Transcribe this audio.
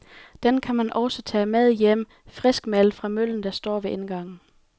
Den kan man også tage med hjem friskmalet fra møllen, der står ved indgangen.